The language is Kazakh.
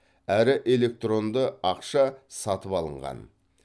әрі электронды ақша сатып алынған